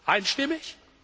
Einstimmig?